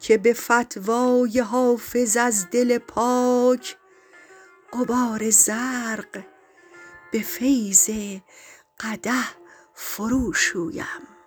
که به فتوی حافظ از دل پاک غبار زرق به فیض قدح فروشویم